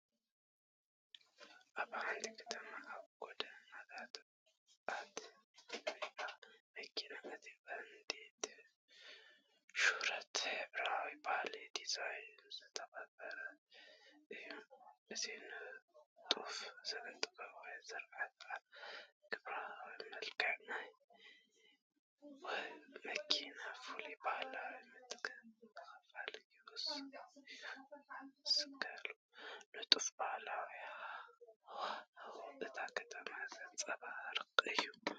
ኣብ ሓንቲ ከተማ ኣብ ጎደናታት እትረአ መኪና፣ እቲ ቀንዲ ትኹረት ሕብራዊን ባህላዊን ዲዛይን ዝተቐብአ እዩ። እዚ ንጡፍ ስነ-ጥበባዊ ስርሓት ኣብ ግብራዊ መልክዕ ናይታ መኪና ፍሉይ ባህላዊ ምትንኻፍ ይውስኸሉ። ንጡፍን ባህላውን ሃዋህው እታ ከተማ ዘንጸባርቕ እዩ።